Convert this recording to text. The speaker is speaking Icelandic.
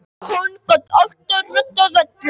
Hann gat alltaf reddað öllu.